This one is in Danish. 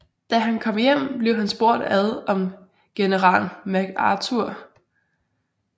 Da han kom hjem blev han spurgt ud om General MacArthur